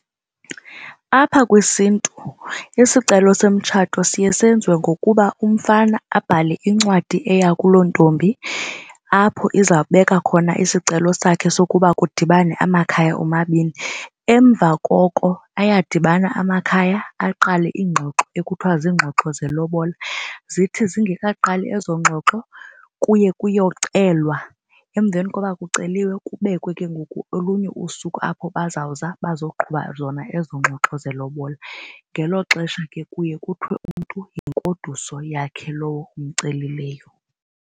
Apha kwisiNtu isicelo somtshato siye senziwe ngokuba umfana abhale incwadi eya kulo ntombi apho izawubeka khona isicelo sakhe sokuba kudibane amakhaya omabini. Emva koko ayadibana amakhaya aqale iingxoxo ekuthiwa ziingxoxo zelobola. Zithi zingekaqali ezo ngxoxo kuye kuyocelwa, emveni koba kuceliwe kubekwe ke ngoku olunye usuku apho bazawuza bazoqhuba zona ezo ngxoxo zelobola. Ngelo xesha ke kuye kuthiwe umntu yingoduso yakhe lowo acelileyo.